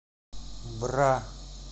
бра